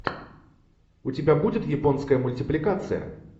у тебя будет японская мультипликация